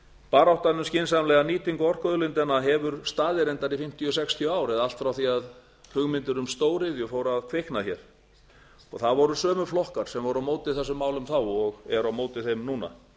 baráttan um skynsamlega nýtingu orkuauðlindanna hefur staðið reyndar í fimmtíu til sextíu ár eða allt frá því að hugmyndir um stóriðju fóru að kvikna hér það voru sömu flokkar sem voru á móti þessum málum þá og eru á móti þeim núna